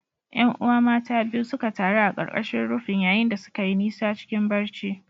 ’Yan’uwa mata biyu suka taru a ƙarƙashin rufin, yayin da suka yi nisa cikin barci.